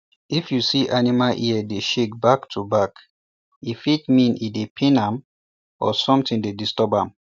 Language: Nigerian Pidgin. if u see animal ear dey shake back to back e fit mean e dey pain am or somthin dey disturb am